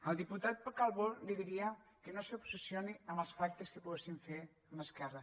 al diputat calbó li diria que no s’obsessioni amb els pactes que poguéssim fer amb esquerra